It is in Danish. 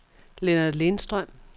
Lennart Lindstrøm